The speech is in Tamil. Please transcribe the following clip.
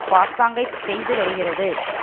பாசாங்கைச் செய்து வருகிறது